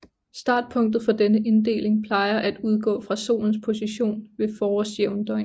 Startpunktet for denne inddeling plejer at udgå fra Solens position ved forårsjævndøgn